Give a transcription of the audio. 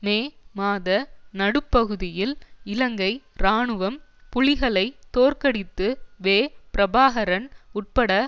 மே மாத நடுப்பகுதியில் இலங்கை இராணுவம் புலிகளை தோற்கடித்து வே பிரபாகரன் உட்பட